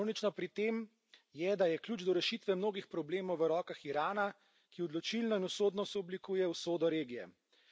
Ironično pri tem je, da je ključ do rešitve mnogih problemov v rokah Irana, ki odločilno in usodno sooblikuje usodo regije.